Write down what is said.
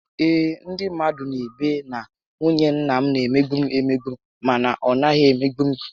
Ee, ndị mmadụ n'ebe na nwunye nna m na emegbu m emegbu mana ọ naghị emegbu m